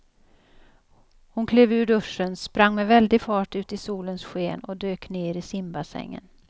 Hon klev ur duschen, sprang med väldig fart ut i solens sken och dök ner i simbassängen.